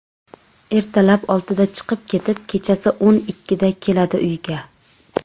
Ertalab oltida chiqib ketib, kechasi o‘n ikkida keladi uyiga.